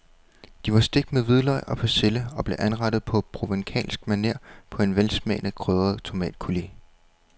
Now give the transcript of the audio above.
De var stegt med hvidløg og persille og blev anrettet på provencalsk maner på en velsmagende krydret tomatcoulis.